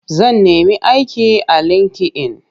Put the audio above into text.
Zan nemi aiki a linki-in.